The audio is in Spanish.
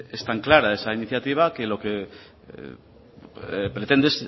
es tan clara esa iniciativa que lo que pretende es